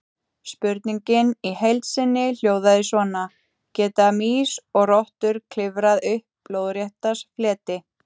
Spurningin í heild sinni hljóðaði svona: Geta mýs og rottur klifrað upp lóðrétta fleti?